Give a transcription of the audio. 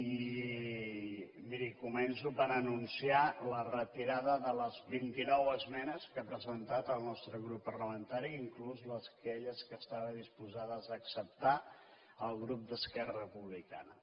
i miri començo per anunciar la retirada de les vint inou esmenes que ha presentat el nostre grup parlamentari inclús aquelles que estava disposat a acceptar el grup d’esquerra republicana